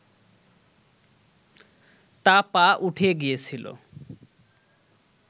তা পা উঠে গিয়েছিল